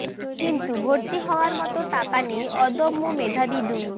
কিন্তু ভর্তি হওয়ার মতো টাকা নেই অদম্য মেধাবী দুই